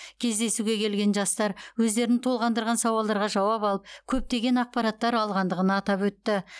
кездесуге келген жастар өздерін толғандырған сауалдарға жауап алып көптеген ақпараттар алғандығын атап өтті